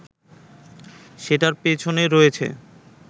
সেটার পেছনে রয়েছে